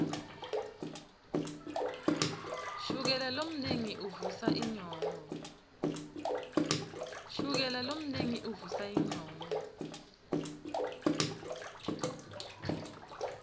shukela lomnengi uvusa inyongo